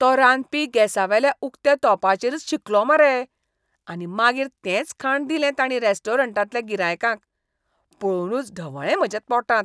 तो रांदपी गॅसावेल्या उक्त्या तोंपाचेरच शिंकलो मरे. आनी मागीर तेंच खाण दिलें तांणी रॅस्टॉरंटांतल्या गिरायकांक. पळोवनूच ढवळ्ळें म्हाज्या पोटांत!